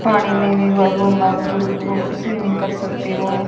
पानी में भी बहुत स्विमिंग कर सकते हो।